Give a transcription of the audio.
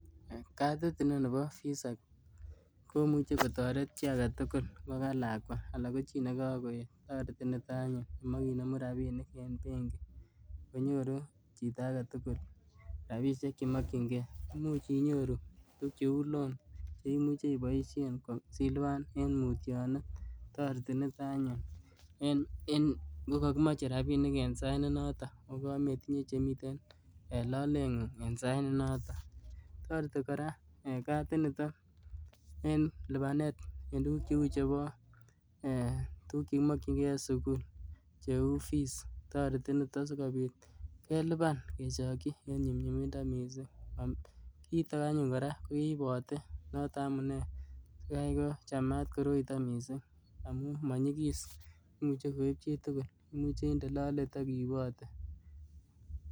Katit inon nebo VISA komuchi kotoret chii age tugul, ngo ka lakwa anan ko chii ne kagoeet. Toreti nito anyun ngimache inemu rabiinik eng benki, konyoru chito age tugul rabiisiek che makchinkei. Imuch inyoru tuguk cheu loan cheimuchi iboisien ko siilipan eng mutyonet. Toreti nito anyun en ngokakimoche rabiinik eng sait nenotok ako kamaitinye chemiten en looletng'ung' en saait nenotok. Toreti kora ee katinitok en lipaneet en tuguk cheu chebo ee tuguk che kimokyinkei en sukul cheuu fees. Toreti nitok sikobiit keliban kechokyi en nyumnyumindo mising. Kiitok anyun kora keipote, notok amunee yaikochamat koroitok mising amu monyigis, imuche koiib chitugul imuche indee loleet ak iipote